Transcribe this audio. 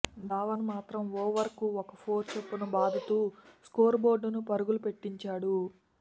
ధవన్ మాత్రం ఓవర్కు ఓ ఫోర్ చొప్పున బాదుతూ స్కోరుబోర్డును పరుగుపెట్టించాడు